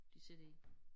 De sidder i